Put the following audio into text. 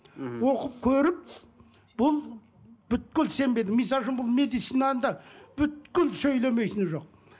мхм оқып көріп бұл сенбедім мысалы үшін медицинаны да сөйлемейтіні жоқ